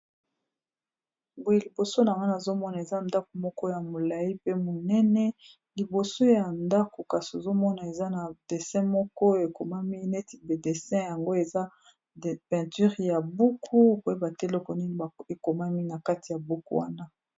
Boye liboso wana nazomona eza ndako moko ya molayi pe monene liboso ya ndako kasi ozomona eza na dessin moko ekomami neti ba dessin yango eza peinture ya buku koyeba te eloko nini ekomami na kati ya buku wana.